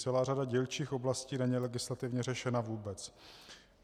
Celá řada dílčích oblastí není legislativně řešena vůbec.